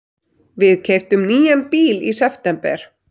Við keyptum nýjan bíl í september.